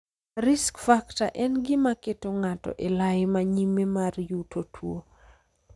'Risk factor' en gima keto ng'ato elai ma nyime mar yudo tuo.